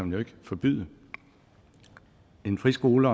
jo ikke forbyde en friskole